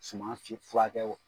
Suman fi furakɛ